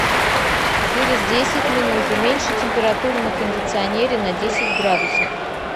через десять минут уменьши температуру на кондиционере на десять градусов